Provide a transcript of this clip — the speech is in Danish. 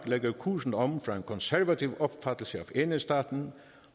lægger kursen om fra en konservativ opfattelse af enhedsstaten